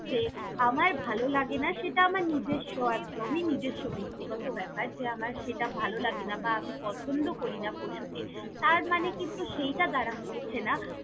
যে আমার ভালো লাগেনা, সেটা আমার নিজস্ব একদমই নিজস্ব ব্যক্তিগত ব্যাপার যে আমার সেটা ভালো লাগেনা বা আমি পছন্দ করিনা পশুকে তারমানে কিন্তু সেইটা দারা হচ্ছে না।